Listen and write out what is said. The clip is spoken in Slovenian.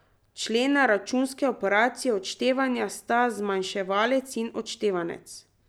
Člena računske operacije odštevanja sta zmanjševanec in odštevanec.